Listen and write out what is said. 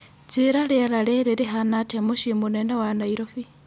njĩĩra rĩera rĩrĩ rĩhana atia mũciinĩ mũnene wa nairobi